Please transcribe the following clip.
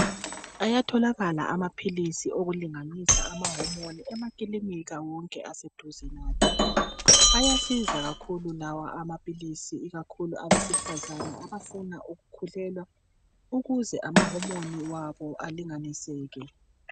Ayatholakala amaphilisi okulinganisa ama"hormone" emakilinika wonke aseduze lathi. Ayasiza kakhulu lawa amaphilisi ikakhulu abesifazane abafuna ukukhulelwa ukuze ama "hormone " wabo alinganiseke.